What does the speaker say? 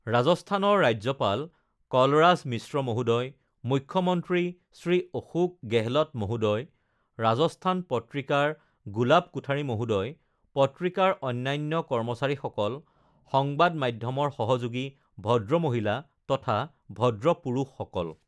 ৰাজস্থানৰ ৰাজ্যপাল কলৰাজ মিশ্ৰ মহোদয়, মুখ্যমন্ত্ৰী শ্ৰী অশোক গেহলট মহোদয়, ৰাজস্থান পত্ৰিকাৰ গুলাব কোঠাৰী মহোদয়, পত্ৰিকাৰ অন্যান্য কৰ্মচাৰীসকল, সংবাদ মাধ্যমৰ সহযোগী, ভদ্ৰ মহিলা তথা ভদ্ৰ পুৰুষসকল!